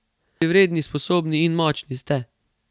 Dobri, vredni, sposobni in močni ste.